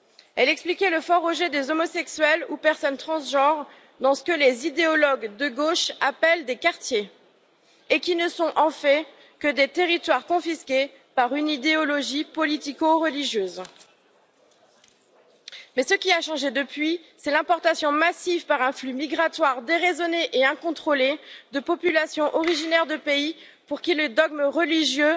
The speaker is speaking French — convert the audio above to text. Elle expliquait le fort rejet des homosexuels et des personnes transgenres dans ce que les idéologues de gauche appellent des quartiers, et qui ne sont en fait que des territoires confisqués par une idéologie politico religieuse. Ce qui a changé depuis, c'est l'importation massive, par un flux migratoire déraisonné et incontrôlé, de populations originaires de pays pour qui le dogme religieux